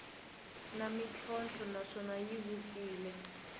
na ntlhontlho naswona yi vupfile